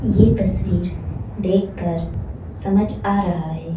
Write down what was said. यह तस्वीर देखकर समझ आ रहा है।